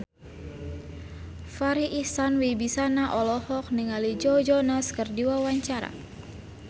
Farri Icksan Wibisana olohok ningali Joe Jonas keur diwawancara